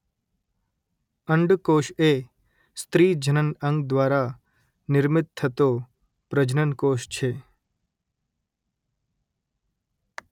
અંડ કોષ એ સ્ત્રી જનન અંગ દ્વારા નિર્મિત થતો પ્રજનન કોષ છે